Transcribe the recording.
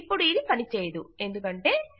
ఇపుడు ఇది పని చేదయదు ఎందుకంటే